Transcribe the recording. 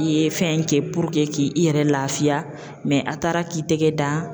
I ye fɛn kɛ puruke ki i yɛrɛ laafiya a taara k'i tɛgɛ dan.